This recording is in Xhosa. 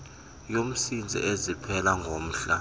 yomsintsi eziphela ngomhla